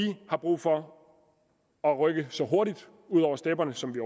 har brug for at rykke så hurtigt ud over stepperne som vi